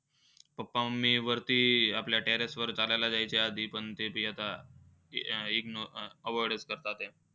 Papa, mummy वरती आपल्या terrace वर चालायला जायचे आधी, पण ते बी आता IGNO avoid करतायत